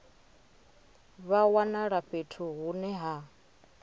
vha wanala fhethu hune ha